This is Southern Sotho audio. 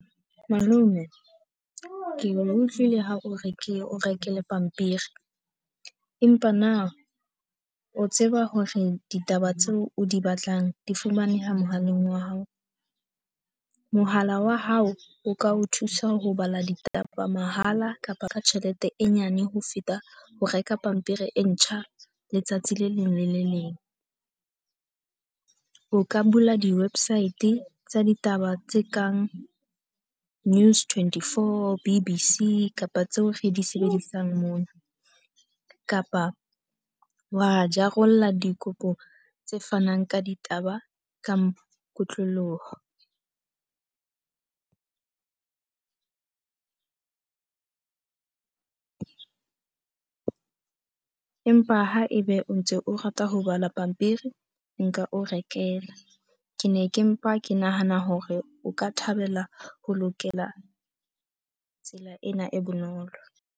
Malome, ke utlwile ha o re ke o rekele pampiri. Empa na o tseba hore ditaba tseo di batlang di fumaneha mohaleng wa hao? Mohala wa hao o ka o thusa ho bala ditaba mahala kapa ka tjhelete e nyane ho feta ho reka pampiri e ntjha letsatsi le leng le le leng. O ka bula di-website tsa ditaba tse kang News24, B_B_C kapa tseo re di sebedisang mona. Kapa wa jarela dikopo tse fanang ka ditaba ka kotloloho. Empa ha ebe o ntse o rata ho bala pampiri, nka o rekela. Ke ne ke mpa ke nahana hore o ka thabela ho lokela tsela ena e bonolo.